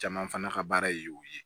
Caman fana ka baara ye o ye